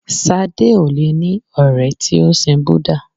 Sadé ò le ní ọ̀rẹ́ tí o sin Búdà.